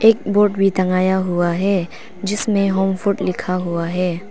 एक बोर्ड भी टंगाया हुआ है जिसमें होम फूड लिखा हुआ है।